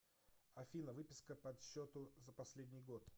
афина выписка подсчету за последний год